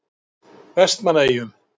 Vestmannaeyjum